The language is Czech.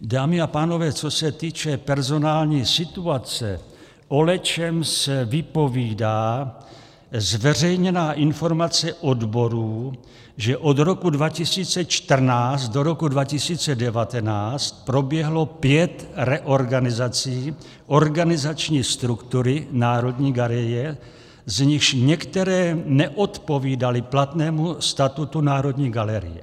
Dámy a pánové, co se týče personální situace, o lecčems vypovídá zveřejněná informace odborů, že od roku 2014 do roku 2019 proběhlo pět reorganizací organizační struktury Národní galerie, z nichž některé neodpovídaly platnému statutu Národní galerie.